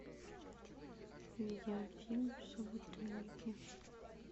видеофильм собутыльники